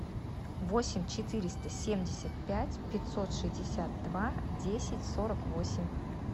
восемь четыреста семьдесят пять пятьсот шестьдесят два десять сорок восемь